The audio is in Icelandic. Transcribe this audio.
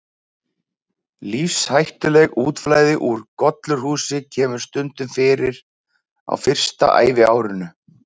Lífshættulegt útflæði úr gollurshúsi kemur stundum fyrir á fyrsta æviárinu.